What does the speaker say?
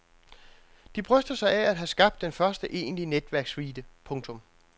De bryster sig af at have skabt den første egentlige netværkssuite. punktum